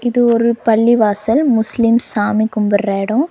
இது ஒரு பள்ளிவாசல் முஸ்லிம்ஸ் சாமி கும்பிடுற எடோ.